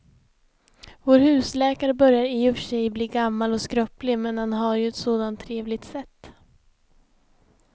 Vår husläkare börjar i och för sig bli gammal och skröplig, men han har ju ett sådant trevligt sätt!